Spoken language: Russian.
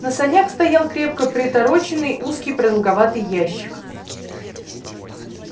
на санях стоял крепко притороченный узкий продолговатый ящик